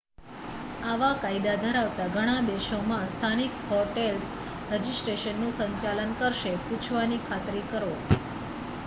આવા કાયદા ધરાવતા ઘણા દેશોમાં સ્થાનિક હોટેલ્સ રજિસ્ટ્રેશનનું સંચાલન કરશે પૂછવાની ખાતરી કરો